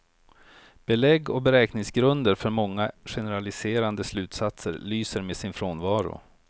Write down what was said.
Belägg och beräkningsgrunder för många generaliserande slutsatser lyser med sin frånvaro.